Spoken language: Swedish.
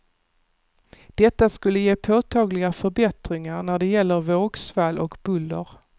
Detta skulle ge påtagliga förbättringar när det gäller vågsvall och buller.